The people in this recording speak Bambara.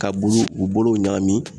Ka bulu u bolow ɲagami